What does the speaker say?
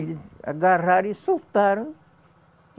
Eles agarraram e soltaram.